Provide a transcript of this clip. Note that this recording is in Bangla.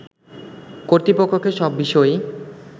কর্তৃপক্ষকে সব বিষয়েই